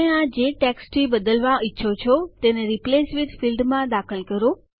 તમે આને જે ટેસ્કટથી બદલવા ઈચ્છો છો તેને રિપ્લેસ વિથ ફીલ્ડમાં દાખલ કરો